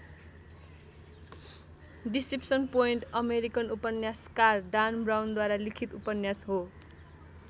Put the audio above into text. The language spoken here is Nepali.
डिसेप्सन पोइन्ट अमेरिकन उपन्यासकार डान ब्राउनद्वारा लिखित उपन्यास हो।